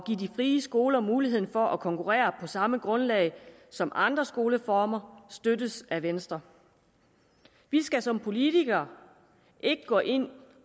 frie skoler mulighed for at konkurrere på samme grundlag som andre skoleformer støttes af venstre vi skal som politikere ikke gå ind